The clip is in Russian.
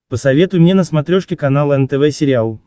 посоветуй мне на смотрешке канал нтв сериал